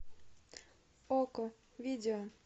окко видео